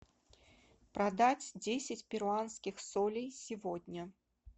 продать десять перуанских солей сегодня